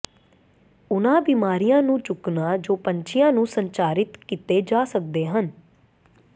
ਉਹਨਾਂ ਬੀਮਾਰੀਆਂ ਨੂੰ ਚੁੱਕਣਾ ਜੋ ਪੰਛੀਆਂ ਨੂੰ ਸੰਚਾਰਿਤ ਕੀਤੇ ਜਾ ਸਕਦੇ ਹਨ